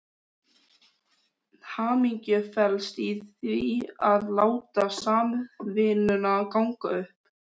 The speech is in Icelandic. Hamingjan felst í því að láta samvinnuna ganga upp.